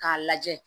K'a lajɛ